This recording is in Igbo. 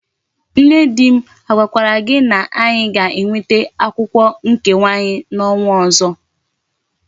Nne di m agwakwara gi na anyi ga enweta akwukwo nkewa anyi na onwa ozo?